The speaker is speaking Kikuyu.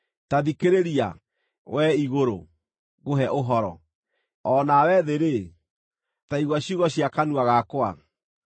Ta thikĩrĩria, wee igũrũ, ngũhe ũhoro; o na we thĩ-rĩ, ta igua ciugo cia kanua gakwa.